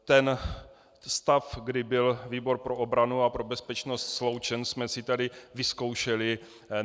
Ten stav, kdy byl výbor pro obranu a pro bezpečnost sloučen, jsme si tady vyzkoušeli.